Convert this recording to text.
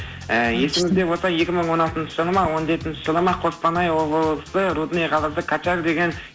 і есіңізде болса екі мың он алтыншы жылы ма он жетінші жылы ма қостанай облысы рудный қаласы качар деген